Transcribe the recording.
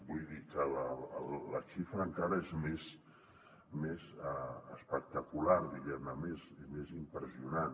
vull dir que la xifra encara és més espectacular més impressionant